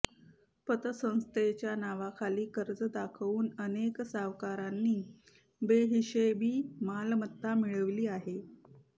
पतसंस्थेच्या नावाखाली कर्ज दाखवून अनेक सावकारांनी बेहिशेबी मालमत्ता मिळविली आहे